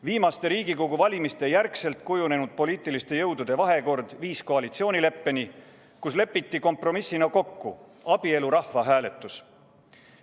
Viimaste Riigikogu valimiste järel kujunenud poliitiliste jõudude vahekord viis koalitsioonileppeni, kus lepiti kompromissina kokku abielu rahvahääletus.